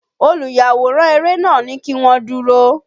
Olùyàwòrán eré nàá ní kí wọ́n dúró.